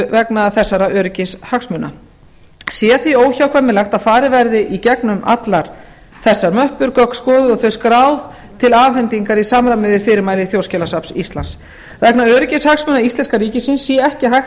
vegna þessara öryggishagsmuna sé því óhjákvæmilegt að farið verði í gegnum allar þessar möppur gögn skoðuð og þau skráð til afhendingar í samræmi við fyrirmæli þjóðskjalasafns íslands vegna öryggishagsmuna íslenska ríkisins sé ekki hægt að